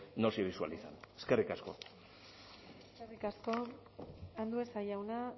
no se visualizan eskerrik asko eskerrik asko andueza jauna